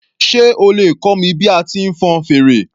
Sé o lè kọ́ mi bí a ti ń fọn fèrè